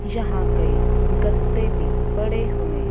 यहां के गत्ते भी पड़े हुए--